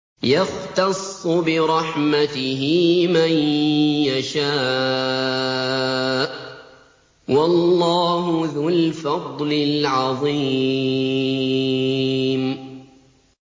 يَخْتَصُّ بِرَحْمَتِهِ مَن يَشَاءُ ۗ وَاللَّهُ ذُو الْفَضْلِ الْعَظِيمِ